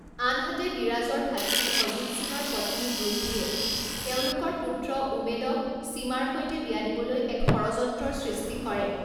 আনহাতে, বিৰাজৰ ভাতৃ অজিত সিঙৰ পত্নী গুজৰিয়ে তেওঁলোকৰ পুত্ৰ উমেদক চীমাৰ সৈতে বিয়া দিবলৈ এক ষড়যন্ত্ৰৰ সৃষ্টি কৰে।